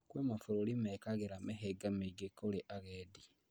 Kwĩ mabũrũri mekagĩra mĩhĩnga mĩingi kũrĩ agendi